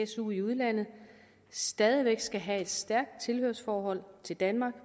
su i udlandet stadig væk skal have et stærkt tilhørsforhold til danmark